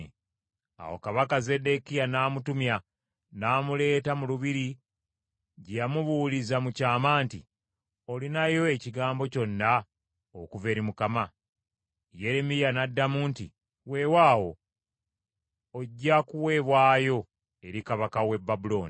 Awo kabaka Zeddekiya n’amutumya n’amuleeta mu lubiri gye yamubuuliza mu kyama nti, “Olinayo ekigambo kyonna okuva eri Mukama ?” Yeremiya n’addamu nti, “Weewaawo, ojja kuweebwayo eri kabaka w’e Babulooni.”